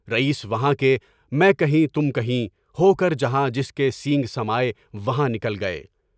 رئیس وہاں کے، میں کہیں، تم کہیں، ہوکر جہاں جس کے سنگ سماے وہاں نکل گئے۔